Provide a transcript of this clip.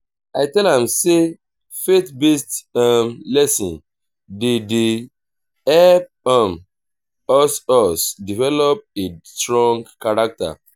i tell am sey faith-based um lesson dem dey help um us us develop a strong character.